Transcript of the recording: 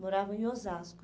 Moravam em Osasco.